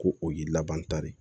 Ko o y'i laban ta de